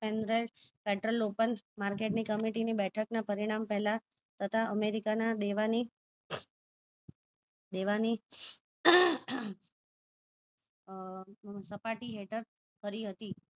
pendrive pedral local market ની committee બેઠક ના પરિણામે પહેલા તથા અમેરિકા ના દેવા ની દેવા ની આહ સપાટી હેઠળ કરી હતી